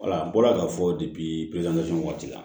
Wala n bɔra k'a fɔ waati la